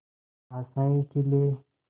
आशाएं खिले